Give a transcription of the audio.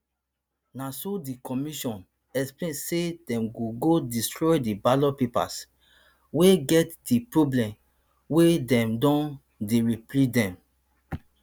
na so di commission explain say dem go go destroy di ballot papers wey get di problem wia dem don dey reprint dem